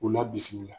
U la bisimila